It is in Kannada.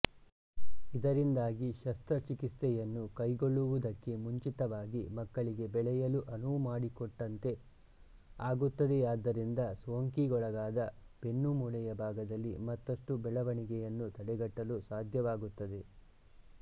ಇದರಿಂದಾಗಿ ಶಸ್ತ್ರಚಿಕಿತ್ಸೆಯನ್ನು ಕೈಗೊಳ್ಳುವುದಕ್ಕೆ ಮುಂಚಿತವಾಗಿ ಮಕ್ಕಳಿಗೆ ಬೆಳೆಯಲು ಅನುವುಮಾಡಿಕೊಟ್ಟಂತೆ ಆಗುತ್ತದೆಯಾದ್ದರಿಂದ ಸೋಂಕಿಗೊಳಗಾದ ಬೆನ್ನುಮೂಳೆಯ ಭಾಗದಲ್ಲಿ ಮತ್ತಷ್ಟು ಬೆಳವಣಿಗೆಯನ್ನು ತಡೆಗಟ್ಟಲು ಸಾಧ್ಯವಾಗುತ್ತದೆ